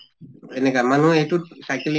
এনেকা মানুহ এইটোত cycling